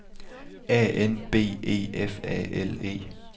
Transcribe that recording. A N B E F A L E